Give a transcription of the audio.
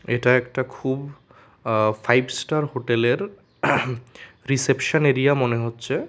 এটা একটা খুব আ ফাইভ স্টার হোটেলের রিসেপশন এরিয়া মনে হচ্ছে।